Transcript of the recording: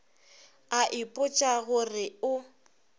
a ipotša go re o